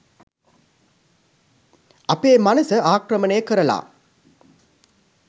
අපේ මනස ආක්‍රමණය කරලා